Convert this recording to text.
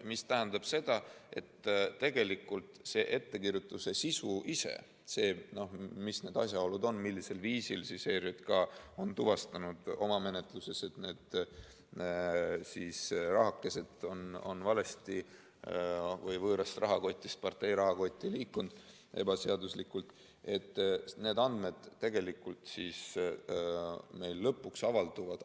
See tähendab seda, et tegelikult see ettekirjutuse sisu, need asjaolud, millisel viisil ERJK on oma menetluses tuvastanud, et need rahakesed on valesti või võõrast rahakotist ebaseaduslikult partei rahakotti liikunud, lõpuks avalduvad